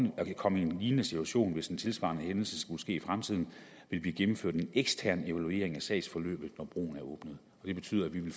komme en lignende situation hvis en tilsvarende hændelse skulle ske i fremtiden vil blive gennemført en ekstern evaluering af sagsforløbet når broen er åbnet det betyder at vi